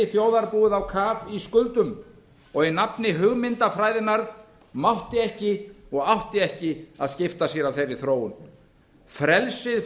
þjóðarbúið á kaf í skuldum og í nafni hugmyndafræðinnar mátti ekki og átti ekki að skipta sér af þeirri þróun frelsið